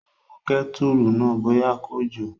Ó wo kẹ́tùrù náà bóyá kò jò